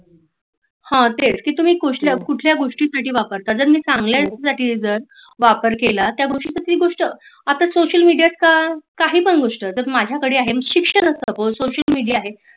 हां तेच की तुम्ही कुठल्या गोष्टी साठी वापरता जर मी चांगल्या साठी जर वापर केला तर त्या गोष्टीतील ती गोष्टी अत्ता सोशल मेडिया काही पण गोष्टी माझा कड आहे शिक्षण असत. सोशल मेडिया आहे